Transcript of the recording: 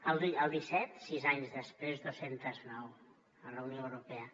el disset sis anys després dos cents i nou a la unió europea